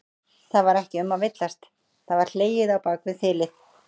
Það var ekki um að villast, það var hlegið á bak við þilið!